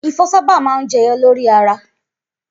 Ifo sábà máa ń jẹyọ lórí ara.